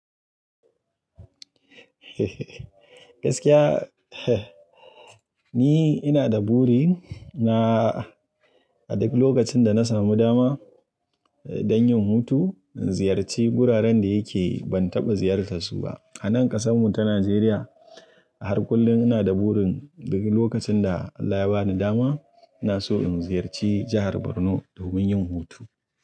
Ni ina da buri na, a duk lokacin da na samu dama don yin hutu in ziyarci wuraren da yake ban taɓa ziyartarsu ba. A nan ƙasan mu ta Najeriya, a har kullum ina da burin duk lokacin da Allah ya bani dama ina so in ziyarci jahar Borno domin yin hutu.